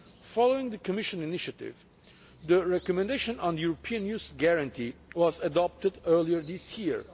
Following the Commission initiative, the recommendation on the European youth guarantee was adopted earlier this year.